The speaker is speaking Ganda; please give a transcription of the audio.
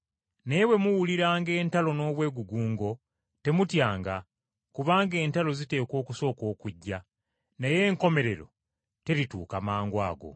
Naye bwe muwuliranga entalo n’obwegugungo, temutyanga. Kubanga entalo ziteekwa okusooka okujja, naye enkomerero terituuka mangwago.”